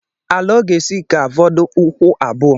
Ala ọ ga-esi ga-afọdụ ụkwụ abuo